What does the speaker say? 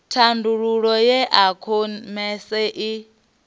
thandululo ya e khomese i